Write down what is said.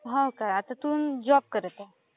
हो काय. आता तू जॉब करत आहेस.